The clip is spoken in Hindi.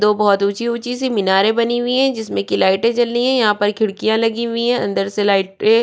दो बहोत ऊँची ऊँची सी मिनारे बनी हुइ है जिसमे की लाइटे जली यहाँ पर खिड़कियां लगी हुई है अंदर से लाइटे --